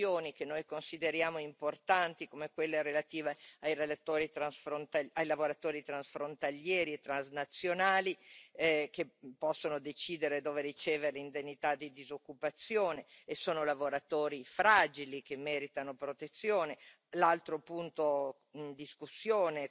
Purtroppo su alcune questioni che noi consideriamo importanti, come quella relativa ai lavoratori transfrontalieri e transnazionali, che possono decidere dove ricevere l'indennità di disoccupazione e sono lavoratori fragili che meritano protezione l'altro punto